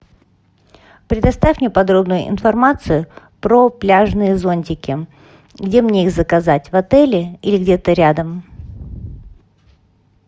предоставь мне подробную информацию про пляжные зонтики где мне их заказать в отеле или где то рядом